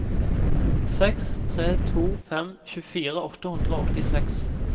seks tre to fem tjuefire åtte hundre og åttiseks